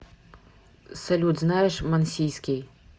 салют знаешь мансийский